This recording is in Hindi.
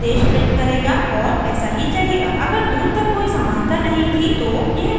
अगर दूर तक कोई समानता नहीं थी तो यह domain की वैल्यू जांचता रहेगा